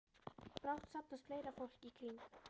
Brátt safnast fleira fólk í kring.